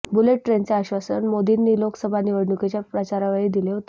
bullet ट्रेनचे आश्वासन मोदींनी लोकसभा निवडणुकीच्या प्रचारावेळी दिले होते